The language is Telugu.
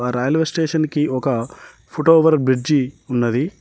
రైల్వే స్టేషన్ కి ఒక ఫోటోవర్ బ్రిడ్జి ఉన్నది.